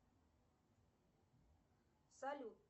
салют